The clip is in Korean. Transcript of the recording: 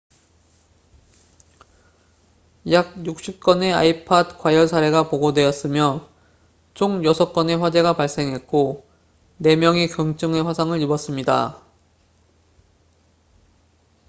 약 60건의 ipod 과열 사례가 보고되었으며 총 6건의 화재가 발생했고 4명이 경증의 화상을 입었습니다